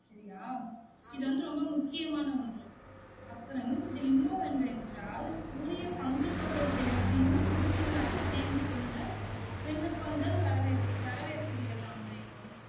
சரியா? இது வந்து ரொம்ப முக்கியமான ஒன்று அப்புறம் இதுல இன்னும் ஒன்று என்னவென்றால் உரிய பங்கு தொகை செலுத்தியும் உறுப்பினராக சேந்து கொள்ள விண்ணப்பங்கள் வரவேற் வர வேர்க்கிறதாம் வேணு